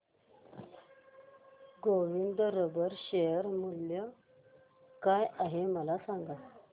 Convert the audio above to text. Govind rubber share मूल्य काय आहे मला सांगा